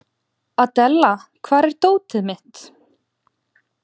Adela, hvar er dótið mitt?